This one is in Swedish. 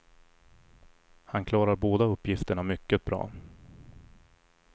Han klarar båda uppgifterna mycket bra.